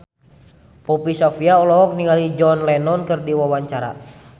Poppy Sovia olohok ningali John Lennon keur diwawancara